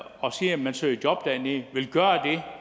og siger at man søger job dernede vil gøre